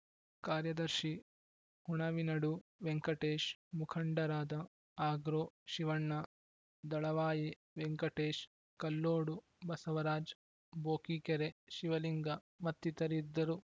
ಕಾರ್ಯದರ್ಶಿ ಹುಣವಿನಡು ವೆಂಕಟೇಶ್‌ ಮುಖಂಡರಾದ ಆಗ್ರೋ ಶಿವಣ್ಣ ದಳವಾಯಿ ವೆಂಕಟೇಶ್‌ ಕೆಲ್ಲೋಡು ಬಸವರಾಜ್‌ ಬೋಕಿಕೆರೆ ಶಿವಲಿಂಗ ಮತ್ತಿತರಿದ್ದರು